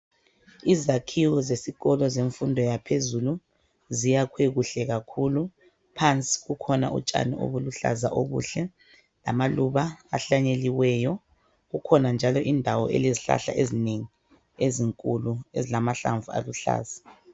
Izakhiwo zesikolo zemfundo yaphezulu ziyakhwe kuhle kakhulu. Phansi kukhona utshani obuluhlaza obuhle lamaluba ahlanyeliweyo. Kukhona njalo indawo elezihlahla ezinengi ezinkulu ezilamahlamvu aluhlaza.